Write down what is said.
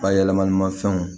Bayɛlɛmanimafɛnw